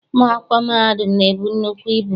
Ụmụ akwụkwọ mahadum na-ebu nnukwu ibu.